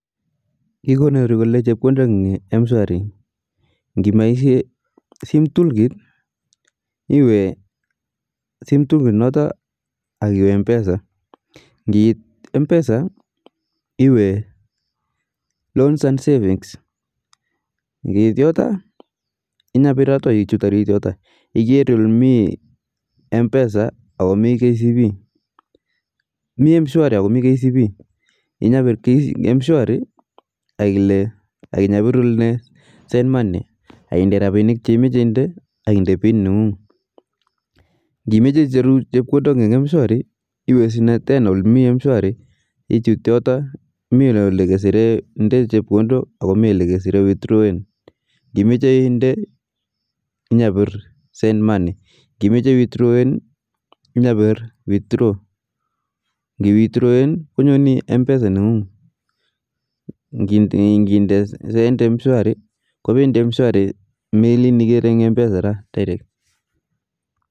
Kikonori chepkondok kole eng mshwari ,ngipaishe simtoolkit iwe simtoolkit noto ak iwe mpesa ngiit mpesa iwe loans and savings ngiit yoto inyapir yoto ak ichut arit yoto iker ole mii mpesa ako mii kcb, mii mshwari ako mii kcb inyapir mshwari akinyapir ile send money akimeche rapinik che imeche indee ak indee pin nengung ,ngimeche icheru eng mshwari iwe snee tena ole me mshwari ichut yoto me ole keser nde chepkondo ako me ole withrawen ngimeche indee inyapir send money ngimeche iwithrowen inyapir withraw, ngii withrowen konyoni mpesa nengung, ngindee send mshwari kopendi mshwari melin ikere eng mpesa direct